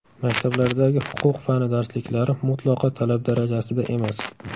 Maktablardagi huquq fani darsliklari mutlaqo talab darajasida emas.